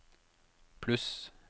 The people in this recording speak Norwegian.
pluss